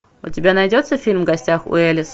у тебя найдется фильм в гостях у элис